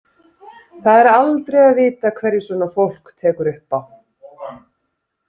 Það er aldrei að vita hverju svona fólk tekur upp á.